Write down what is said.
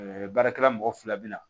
baarakɛla mɔgɔ fila bɛ na